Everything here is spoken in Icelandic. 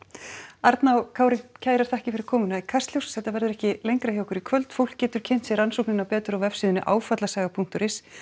arna og Kári kærar þakkir fyrir komuna í Kastljós þetta verður ekki lengra hjá okkur í kvöld fólk getur kynnt sér rannsóknina betur á vefsíðunni afallasaga punktur is